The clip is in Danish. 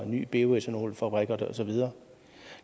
ny bioethanolfabrik og så videre